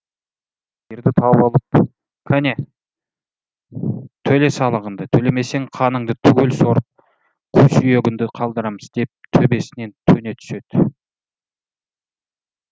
сиырды тауып алып кәне төле салығыңды төлемесең қаныңды түгел сорып қу сүйегіңді қалдырамыз деп төбесінен төне түседі